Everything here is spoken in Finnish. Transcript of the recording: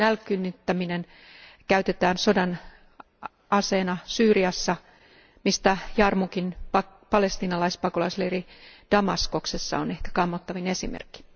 Nälkiinnyttämistä käytetään sodan aseena Syyriassa, mistä Jarmugin palestiinalaispakolaisleiri Damaskoksessa on ehkä kammottavin esimerkki.